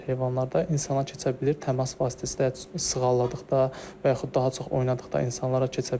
İnsana keçə bilir, təmas vasitəsilə, sığalladıqda və yaxud daha çox oynadıqda insanlara keçə bilir.